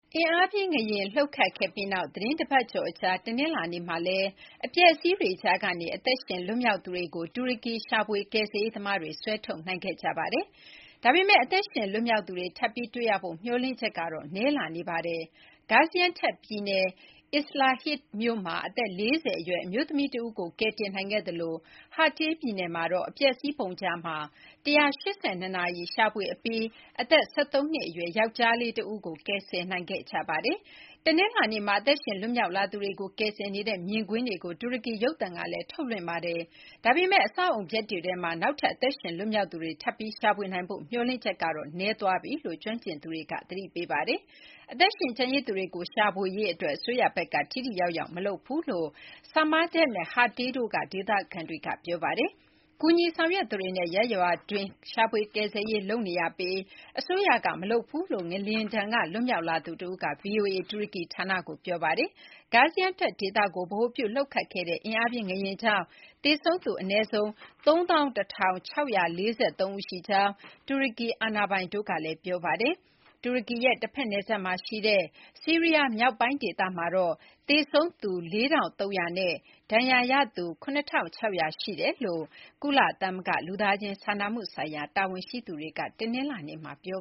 အင်အားပြင်းငလျင်လှုပ်ခတ်ခဲ့ပြီးနောက် သီတင်းတပတ်ကျော်အကြာ တနင်္လာနေ့မှာလည်း အပျက်အစီးတွေကြားကနေ အသက်ရှင်လွတ်မြောက်သူတွေကို တူရကီကယ်ဆယ်ရေး သမားတွေ ဆွဲထုတ်နိုင်ခဲ့ကြပါတယ်။ ဒါပေမဲ့ အသက်ရှင်လွတ်မြောက်သူတွေ ထပ်ပြီး တွေ့ရဖို့ မျှော်လင့်ချက်ကတော့ နည်းလာနေပါတယ်။ Gaziantep ပြည်နယ် Islahiye မြို့မှာ အသက် ၄၀ အရွယ် အမျိုးသမီးတဦးကို ကယ်တင်နိုင်ခဲ့သလို Hatay ပြည်နယ်မှာတော့ အပျက်အစီးပုံကြားမှာ ၁၈၂ နာရီ ရှာဖွေအပြီးမှာတော့ အသက် ၁၃ နှစ်အရွယ် ယောက်ကျားလေးတဦးကို ကယ်ဆယ်နိုင်ခဲ့ကြပါတယ်။ တနင်္လာနေ့မှာ အသက်ရှင်လွတ်မြောက်လာသူတွေကို ကယ်ဆယ်နေတဲ့မြင်ကွင်းတွေကို တူရကီ ရုပ်သံကလည်း ထုတ်လွှင့်ခဲ့ပါတယ်။ ဒါပေမဲ့ အဆောက်အအုံပျက်တွေထဲမှာ နောက်ထပ် အသက်ရှင်လွတ်မြောက်သူတွေ ထပ်ပြီး ရှာဖွေနိုင်ဖို့ မျှော်လင့်ချက်ကတော့ နည်းသွားပြီလို့ ကျွမ်းကျင်သူတွေက သတိပေးပါတယ်။ အသက်ရှင်ကျန်ရစ်သူတွေကို ရှာဖွေရေးအတွက် အစိုးရဘက်က ထိထိရောက်ရောက် မလုပ်ဘူးလို့ Samandag နဲ့ Hatay တို့က ဒေသခံတွေက ပြောပါတယ်။ ကူညီဆောင်ရွက်သူတွေနဲ့ ရပ်ရွာတွင်းက ရှာဖွေကယ်ဆယ်ရေးလုပ်နေရပြီး အစိုးရကမလုပ်ဘူးလို့ ငလျင်ဒဏ်က လွတ်မြောက်လာသူတဦးက ဗွီအိုအေ တူရကီဌာနကိုပြောပါတယ်။ Gaziantep ဒေသကို ဗဟိုပြုလှုပ်ခတ်ခဲ့တဲ့အင်အားပြင်းငလျင်ကြောင့် သေဆုံးသူအနည်းဆုံး ၃၁,၆၄၃ ဦးရှိကြောင်း တူရကီအာဏာပိုင်တို့ကလည်း ပြောဆိုထားပါတယ်။ တူရကီရဲ့ တဖက် နယ်စပ်မှာရှိတဲ့ ဆီးရီးယားမြောက်ပိုင်းဒေသမှာတော့ သေဆုံးသူ ၄,၃၀၀ နဲ့ ဒဏ်ရာရသူ ၇,၆၀၀ ရှိကြောင်း ကုလသမဂ္ဂ လူသားချင်းစာနာမှုဆိုင်ရာတာဝန်ရှိသူတွေက တနင်္လာနေ့မှာ ပြော